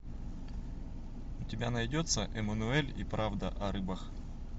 у тебя найдется эммануэль и правда о рыбах